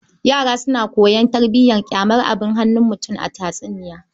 Yara suna koyon tarbiyar ƙyamar abun hannun mutum a tatsuniya.